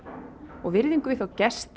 og virðingu við þá gesti